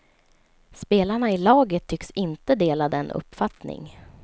Spelarna i laget tycks inte dela den uppfattning.